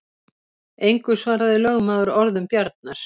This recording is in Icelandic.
Engu svaraði lögmaður orðum Bjarnar.